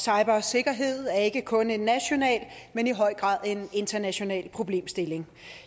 cybersikkerhed er ikke kun en national men i høj grad også en international problemstilling